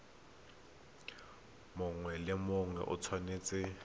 mongwe le mongwe o tshwanetse